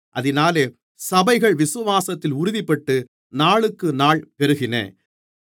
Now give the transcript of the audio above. அதினாலே சபைகள் விசுவாசத்தில் உறுதிப்பட்டு நாளுக்குநாள் பெருகின